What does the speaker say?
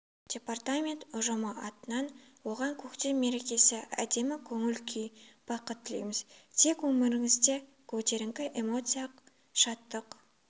департамент ұжымы атынан оған көктем мерекесі әдемі көңіл-күй бақыт тілейміз тек өміріңізде көтеріңкі эмоция шаттық